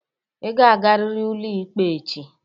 Ị ga-agarịrị ụlọikpe echi!